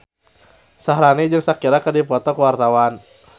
Syaharani jeung Shakira keur dipoto ku wartawan